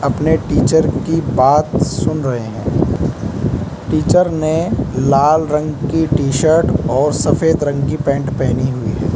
अपने टीचर की बात सुन रहे हैं टीचर ने लाल रंग की टी शर्ट और सफेद रंग की पेंट पहनी हुई है।